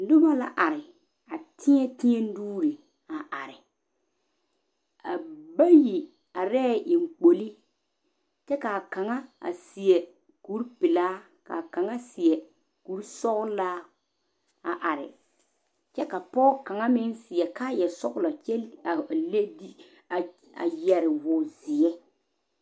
Noba la are a tɛɛtɛɛ nuuri a are a bayi are eŋkpoli kyɛ ka kaŋa are seɛ kuri pɛle kaa kaŋa seɛ kuri soɔlaa a are kyɛ ka pɔge kaŋ are seɛ kaa yɛ soɔlo a yɛre wɔ zeɛ.